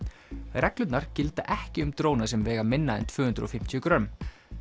reglurnar gilda ekki um dróna sem vega minna en tvö hundruð og fimmtíu grömm